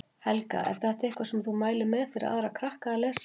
Helga: Er þetta eitthvað sem þú mælir með fyrir aðra krakka að lesa?